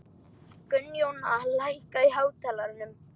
Gunnjóna, lækkaðu í hátalaranum.